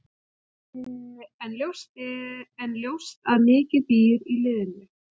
En ljóst að mikið býr í liðinu.